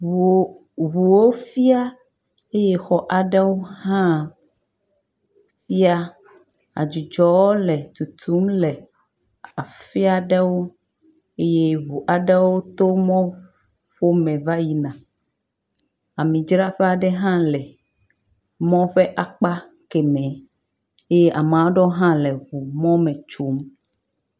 ŋuwo fia eye xɔ aɖewo hã fia ye adzudzɔ le tutum le afia ɖewo ye ŋu aɖo to mɔ ƒo me va yina, ami dzraƒe ha le emɔ ƒe akpa kemɛ, eye ame aɖewo le ŋugbome tsom